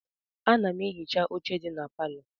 Ana m ehicha oche ndị dị na palọ.